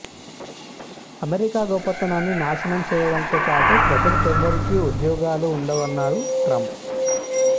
America గొప్పతనాన్ని నాశనం చేయడంతో పాటుగా ప్రజలకెవరికీ ఉద్యోగాలు ఉండవన్నారు ట్రంప్